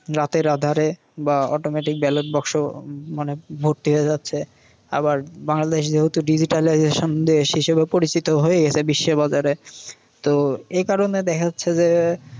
রাতের আধারে বা automaticballot বাক্স মানে ভোট হয়ে যাচ্ছে। আবার বাংলাদেশ তো digitalisation দেশ হিসেবে পরিচিত হয়ে গেসে বিশ্বের বাজারে। তো এই কারণে দেখা যাচ্ছে যে